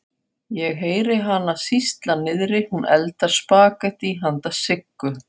Ég heyri hana sýsla niðri, hún eldar spagettí handa Siggu.